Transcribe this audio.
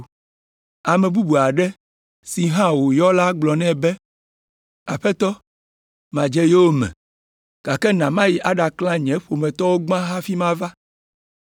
Ame bubu aɖe si hã wòyɔ la gblɔ nɛ be, “Aƒetɔ, madze yowòme, gake na mayi aɖaklã nye ƒometɔwo gbã hafi mava.”